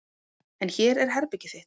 En hér er herbergið þitt.